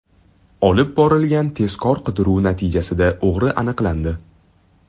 Olib borilgan tezkor-qidiruv natijasida o‘g‘ri aniqlandi.